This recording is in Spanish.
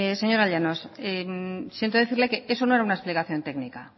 señora llanos siento decirle que eso no era una explicación técnica